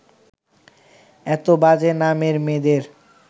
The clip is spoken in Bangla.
এত বাজে নামের মেয়েদের